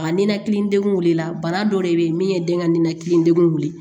A ninakili degun wilila bana dɔ de be yen min ye den ka ninakili degun wuli